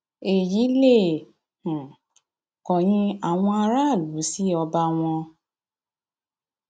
èyí lè um kọyìn àwọn aráàlú sí ọba wọn